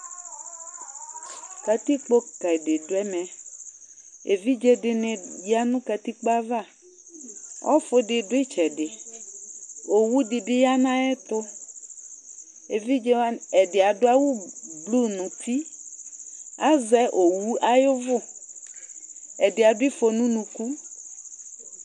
Katikpo ka dɩ dʋ ɛmɛ Evidze dɩnɩ ya nʋ katikpo yɛ ava Ɔfʋ dɩ dʋ ɩtsɛdɩ Owu dɩ bɩ ya nʋ ayɛtʋ Evidze wanɩ ɛdɩ adʋ awʋblu nʋ uti Azɛ owu ayʋ ʋvʋ Ɛdɩ adʋ ɩfɔ nʋ unuku